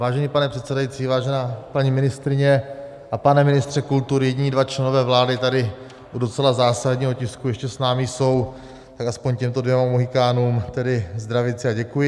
Vážený pane předsedající, vážená paní ministryně a pane ministře kultury, jediní dva členové vlády tady u docela zásadního tisku ještě s námi jsou, tak aspoň těmto dvěma mohykánům tedy zdravici a děkuji.